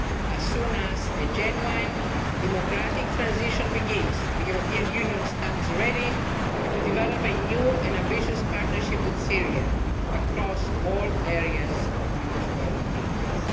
As soon as a genuine democratic transition begins, the European Union stands ready to develop a new and ambitious partnership with Syria across all areas of mutual interest.